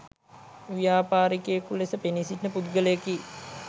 ව්‍යාපාරිකයෙකු ලෙස පෙනී සිටින පුද්ගලයෙකි